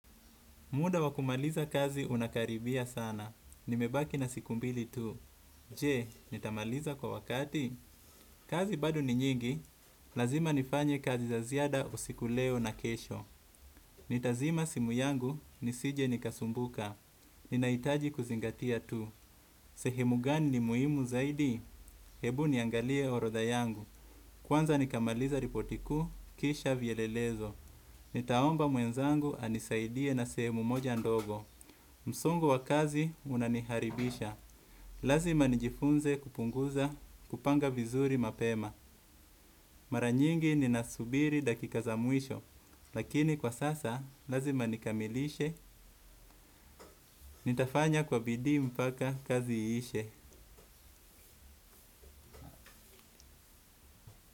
Muda wa kumaliza kazi unakaribia sana. Nimebaki na siku mbili tu. Je, nitamaliza kwa wakati? Kazi bado ni nyingi. Lazima nifanye kazi za ziada usiku leo na kesho. Nitazima simu yangu, nisije nikasumbuka. Ninaitaji kuzingatia tu. Sehemu gani ni muhimu zaidi? Hebu niangalie orodha yangu. Kwanza nikamaliza ripoti kuu, kisha vielelezo. Nitaomba mwenzangu anisaidie na sehemu moja ndogo. Msongo wa kazi unaniharibisha, lazima nijifunze kupunguza kupanga vizuri mapema. Mara nyingi ninasubiri dakika za mwisho, lakini kwa sasa lazima nikamilishe, nitafanya kwa bidii mpaka kazi iishe.